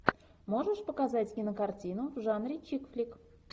можешь показать кинокартину в жанре чикфлик